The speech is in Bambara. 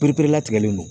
Pereperelatigɛlen don